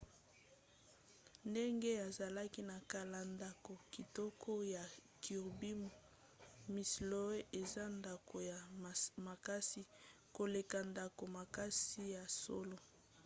ndenge ezalaki na kala ndako kitoko ya kirby muxloe eza ndako ya makasi koleka ndako makasi ya solo